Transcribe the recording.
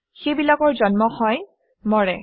সেইবিলাকৰ জন্ম হয় মৰে